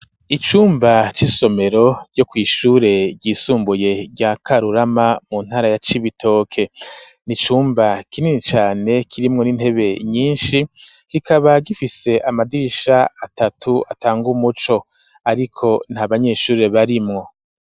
Icumba c'isomero ryo kw'ishure ryisumbuye rya Karurama mu ntara ya Cibitoke n'icumba kinini cane kirimwo n'intebe nyishi kikaba gifise amadirisha atatu atanga umuco ariko nta banyeshuri barimwo.